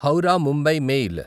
Howrah Mumbai mail